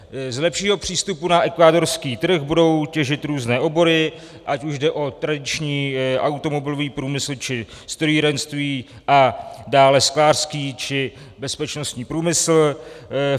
Z lepšího přístupu na ekvádorský trh budou těžit různé obory, ať už jde o tradiční automobilový průmysl, či strojírenství, a dále sklářský či bezpečnostní průmysl.